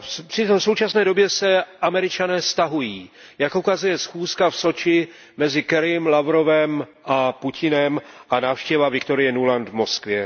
Přitom v současné době se Američané stahují, jak ukazuje schůzka v Soči mezi Kerrym, Lavrovem a Putinem a návštěva Victorie Nulandové v Moskvě.